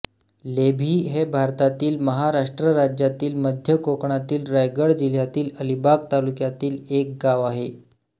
लेभी हे भारतातील महाराष्ट्र राज्यातील मध्य कोकणातील रायगड जिल्ह्यातील अलिबाग तालुक्यातील एक गाव आहे